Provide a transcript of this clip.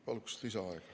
Palun lisaaega!